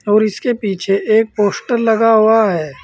और इसके पीछे एक पोस्टर लगा हुआ है।